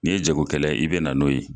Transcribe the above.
N'i ye jago kɛla ye i bɛ na n'o ye.